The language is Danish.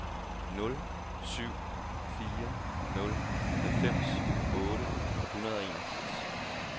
nul syv fire nul halvfems otte hundrede og enogfirs